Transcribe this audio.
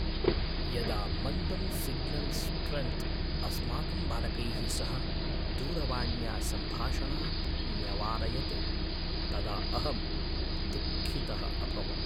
यदा मन्दं signal strength अस्माकं बालकैः सह दूरवाण्या सम्भाषणात् न्यवारयत्, तदा अहं दुःखितः अभवम्।